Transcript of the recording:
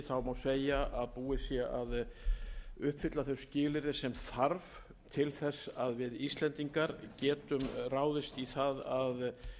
segja að búið sé að uppfylla þau skilyrði sem þarf til þess að við íslendingar getum ráðist í það að